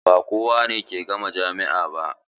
Ba kowane ke gama jami'a ba.